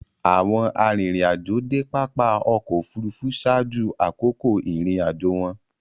Awọn arinrin-ajo de pápá ọkọ̀ òfurufú ṣaaju akoko irin-ajo wọn